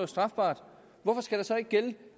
strafbart hvorfor skal der så ikke gælde